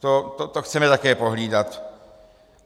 To chceme také pohlídat.